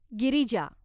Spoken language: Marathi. गिरिजा